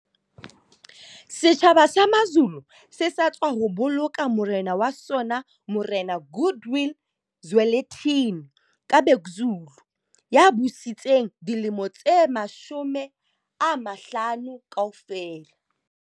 Setjhaba sa Mazulu se sa tswa boloka morena wa sona Morena Goodwill Zwelithini ka Bhekuzulu ya busitseng dilemo tse 50 kaofela.